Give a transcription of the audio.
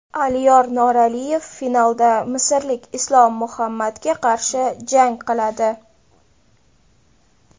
Aliyor Noraliyev finalda misrlik Islom Muhammadga qarshi jang qiladi.